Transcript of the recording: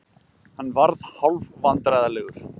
Hann varð hálfvandræðalegur.